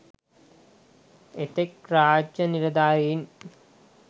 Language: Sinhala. එතෙක් රාජ්‍ය නිලධාරීන්